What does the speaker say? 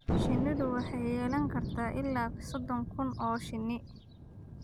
Shinnidu waxay yeelan kartaa ilaa soddon kun oo shinni.